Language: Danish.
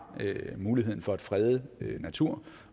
muligheden for at frede natur